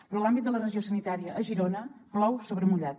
però a l’àmbit de la regió sanitària a girona plou sobre mullat